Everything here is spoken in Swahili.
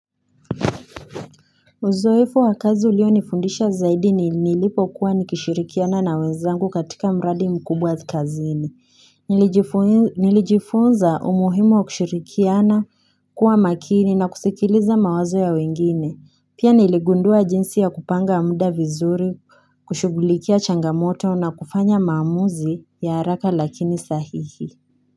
Uzoefu wakazi ulio nifundisha zaidi ni nilipo kuwa nikishirikiana na wenzangu katika mradi mkubwa kazini, nilijifunza umuhimu wa kishirikiana kuwa makini na kusikiliza mawazo ya wengine, pia niligundua jinsi ya kupanga mda vizuri, kushugulikia changamoto na kufanya mamuzi ya haraka lakini sahihi.